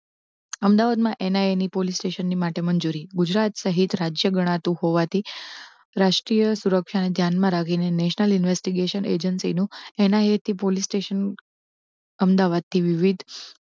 અમદાવાદ માં એના N I police station માટે મંજૂરી ગુજરાત સહિત રાજ્ય ગણાતું હોવા થી રાષ્ટ્રીય સુરક્ષા ને ધ્યાન માં રાખી ને national investigation agency નુ એનઆઈએ પોલિસ સ્ટેશન અમદાવાદ થી વિવિધ